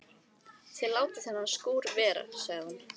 Þið látið þennan skúr vera sagði hún.